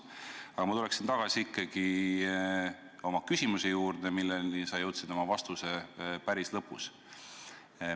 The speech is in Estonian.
Aga ma tulen ikkagi tagasi oma küsimuse põhiteema juurde, milleni sa jõudsid oma vastuse lõpus.